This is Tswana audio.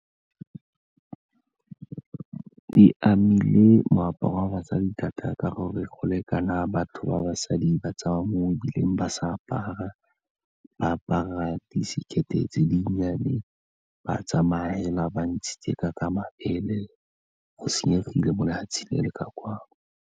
E amile moaparo wa basadi thata ka gore go lekana batho ba basadi ba tsamaya mo mebileng ba sa apara, ba apara disekete tse dinnyane, ba tsamaya fela ba ntshitse ka mabele go senyegile mo lefatsheng le le kwano.